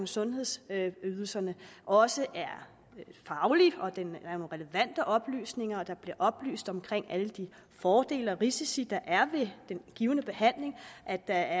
sundhedsydelserne også er faglig at den har relevante oplysninger at der bliver oplyst om alle de fordele og risici der er ved en given behandling og at der